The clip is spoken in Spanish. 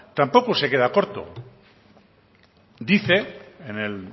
tampoco se queda corto dice en el